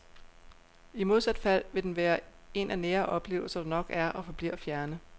I modsat fald vil den være en af nære oplevelser, der nok er og forbliver fjerne.